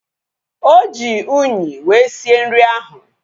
Oji unyi wee sie nri ahu